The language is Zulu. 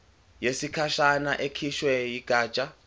yesikhashana ekhishwe yigatsha